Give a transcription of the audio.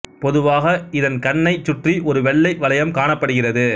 பொதுவாக இதன் கண்ணை சுற்றி ஒரு வெள்ளை வளையம் காணப்படுகிறது